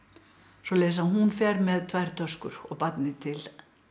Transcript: svoleiðis að hún fer með tvær töskur og barnið til